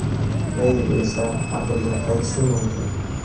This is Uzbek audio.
Beyl esa APLga qaytishi mumkin.